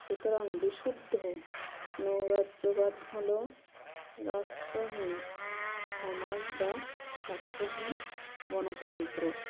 সুতরাং বিশুদ্ধ নৈরাজ্যবাদ হলো রাষ্ট্রহীন সমাজ বা রাষ্ট্রহীন গনতন্ত্র